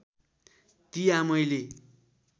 ती आमैले